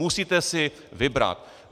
Musíte si vybrat.